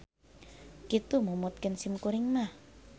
Kitu numutkeun sim kuring mah.